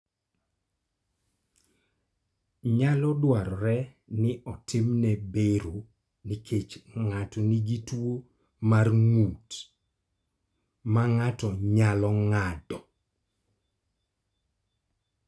Nyalo dwarore ni otimne bero nikech ng�ato nigi tuo mar ng�ut ma ng�ato nyalo ng�ado.